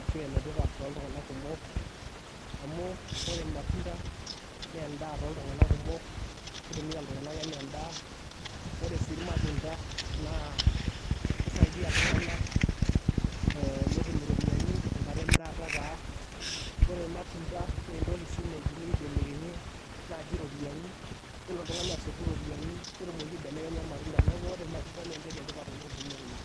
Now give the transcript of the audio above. ashu enetipat too ltunganak kumok, amuu ore lmatunda nee endaa to ltunganak kumok, keitumiya ltunganak enaa endaa, ore sii ilmatunda naa keisaidiya ltunganak netum iropiyiani enkata emirata taa, kore ilmatunda nee entoki si naidimi eibelekenyie naaji ropiyiani, nelo ltungani asotu ropiyiani netumoki aibelekenya lmatunda, neaku ore lmatunda nee entoki etipat oleng teneuni.